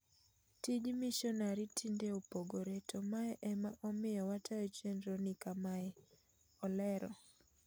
"Tij mishonari tinde opogore to mae ema omiyo watayo chendro ni kamae,"olero.